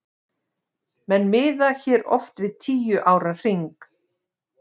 Menn miða hér oft við tíu ára hring.